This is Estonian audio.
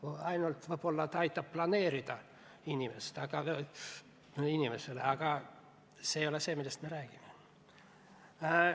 Riik ainult võib-olla aitab inimesel planeerida, aga see ei ole see, millest me räägime.